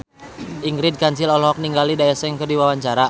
Ingrid Kansil olohok ningali Daesung keur diwawancara